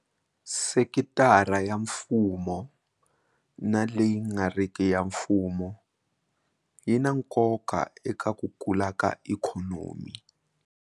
Sekitara ya mfumo na leyi nga riki ya mfumo yi na nkoka eka ku kula ka ikhonomi.